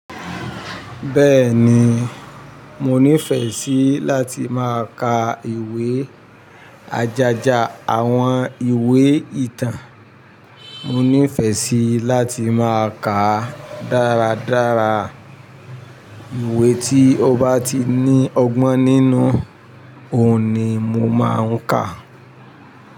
Bẹ́ẹ̀ni, mo nífẹ̀ẹ́ sí láti máa ka ìwé ajaja, àwọn ìwé ìtàn. Mo nífẹ̀ẹ́ sí láti máa kà dáradára. Ìwé tí ó bá ti ní ọgbọ́n nínú òun ni mo máa ń kà.